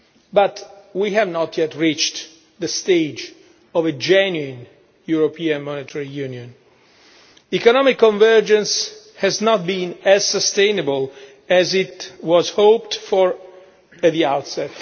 But we have not yet reached the stage of a genuine European Monetary Union. Economic convergence has not been as sustainable as was hoped for at the outset.